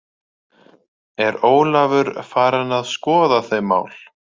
Er Ólafur farinn að skoða þau mál?